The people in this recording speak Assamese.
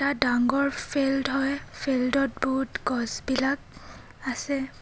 এটা ডাঙৰ ফিল্ড হয় ফিল্ড ত বহুত গছবিলাক আছে.